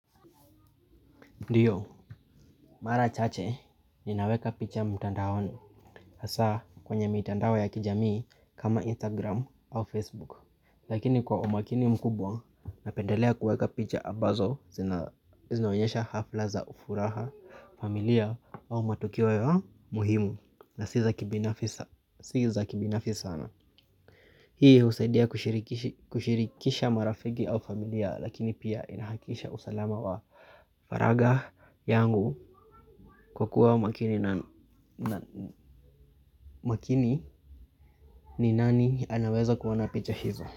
Ndio, mara chache, ninaweka picha mtandaoni, hasa kwenye mitandao ya kijamii kama Instagram au Facebook. Lakini kwa umakini mkubwa, napendelea kuweka picha ambazo, zinaonyesha hafla za furaha, familia au matokeo ya muhimu. Na si za kibinafi sana. Hii husaidia kushirikisha marafiki au familia lakini pia inahakikisha usalama wa faragha yangu kwa kuwa makini na makini ni nani anaweza kuona picha hizo.